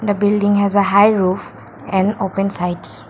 the building has a high roof and open sides.